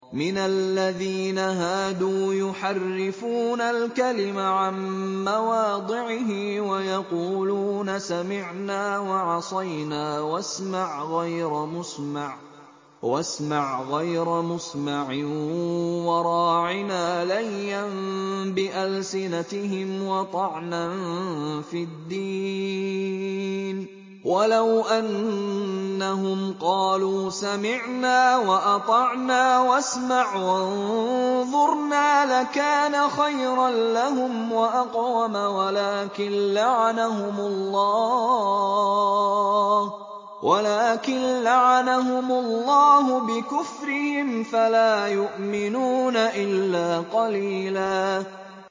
مِّنَ الَّذِينَ هَادُوا يُحَرِّفُونَ الْكَلِمَ عَن مَّوَاضِعِهِ وَيَقُولُونَ سَمِعْنَا وَعَصَيْنَا وَاسْمَعْ غَيْرَ مُسْمَعٍ وَرَاعِنَا لَيًّا بِأَلْسِنَتِهِمْ وَطَعْنًا فِي الدِّينِ ۚ وَلَوْ أَنَّهُمْ قَالُوا سَمِعْنَا وَأَطَعْنَا وَاسْمَعْ وَانظُرْنَا لَكَانَ خَيْرًا لَّهُمْ وَأَقْوَمَ وَلَٰكِن لَّعَنَهُمُ اللَّهُ بِكُفْرِهِمْ فَلَا يُؤْمِنُونَ إِلَّا قَلِيلًا